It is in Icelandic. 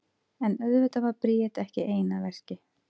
En auðvitað var Bríet ekki ein að verki.